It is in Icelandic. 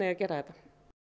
að gera þetta